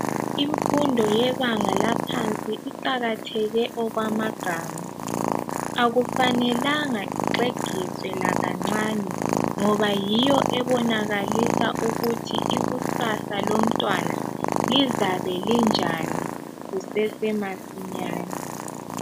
Imfundo yebanga laphansi iqakatheke okwamagama akufanelanga ixegiswe lakancane ngoba yiyo ebonakalisa ukuthi ikusasa lomtwana lizabe linjani kusesemasinyane